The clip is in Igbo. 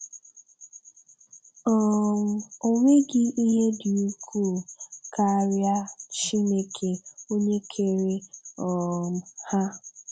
um Ọ nweghị ihe dị ukwuu karịa Chineke onye kere um ha.